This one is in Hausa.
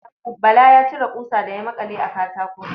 Bala ya cire ƙusa da ya maƙale a katako.